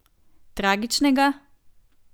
Tragičnega?